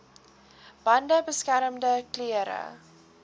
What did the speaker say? bande beskermende klere